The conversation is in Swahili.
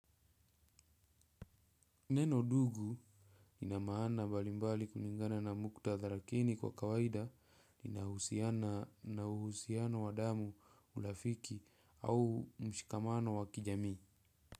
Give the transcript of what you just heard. Neno "ndugu" lina maana mbalimbali kulingana na muktadha. Lakini kwa kawaida linahusiana na uhusiano wa damu, urafiki au mshikamano wa kijamii.